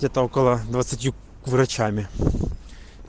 где-то около двадцатью врачами